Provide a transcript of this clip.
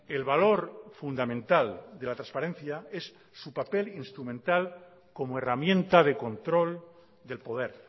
el valor fundamental de la transparencia es su papel instrumental como herramienta de control del poder